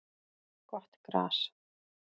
Gott gras